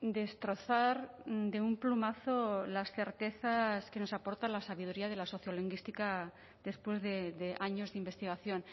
destrozar de un plumazo las certezas que nos aporta la sabiduría de la sociolingüística después de años de investigación